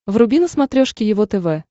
вруби на смотрешке его тв